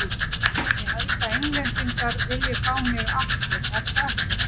Ég held að Englendingar vilji fá mig aftur, er það ekki?